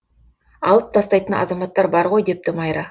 алып тастайтын азаматтар бар ғой депті майра